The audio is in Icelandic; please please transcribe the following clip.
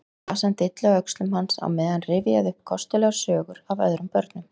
Flasan dillaði á öxlum hans á meðan hann rifjaði upp kostulegar sögur af öðrum börnum.